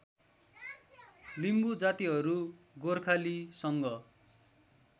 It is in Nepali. लिम्बू जातिहरू गोर्खालीसँग